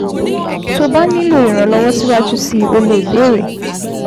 Tó o bá nílò ìrànlọ́wọ́ síwájú sí i, o lè béèrè